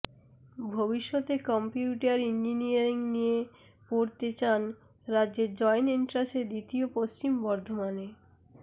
ভবিষ্যতে computer engineering নিয়ে পড়তে চান রাজ্যে জয়েন্ট এন্ট্রাসে দ্বিতীয় পশ্চিম বর্ধমানের